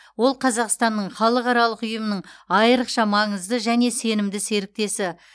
ол қазақстанның халықаралық ұйымның айрықша маңызды және сенімді серіктесі